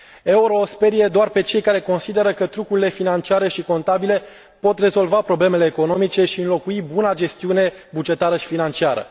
Euro îi sperie doar pe cei care speră că trucurile financiare și contabile pot rezolva problemele economice și înlocui buna gestiune bugetară și financiară.